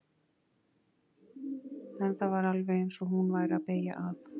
En það var alveg eins og hún væri að beygja af.